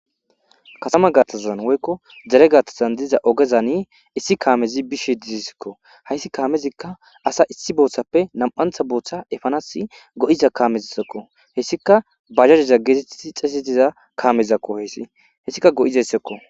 Kathama gaathazan woyko dere gaathazan diza oge bola issi kaamezi bishe de'esiko haysi kaamezika asa issi boothape hara bootha efanasi go'iza kaameko heysika baajaje heetetidi xeetetiza kaamezako haysi heysika go'izaysako.